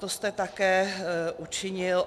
To jste také učinil.